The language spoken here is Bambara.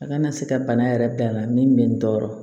A kana se ka bana yɛrɛ da la min bɛ n tɔɔrɔ